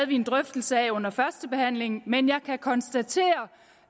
vi en drøftelse af under førstebehandlingen men jeg kan konstatere